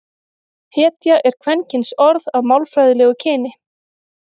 hetja er kvenkynsorð að málfræðilegu kyni